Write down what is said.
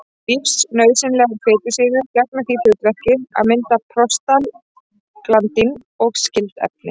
Lífsnauðsynlegar fitusýrur gegna því hlutverki að mynda prostaglandín og skyld efni.